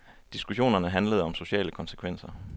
Diskussionerne handlede om sociale konsekvenser.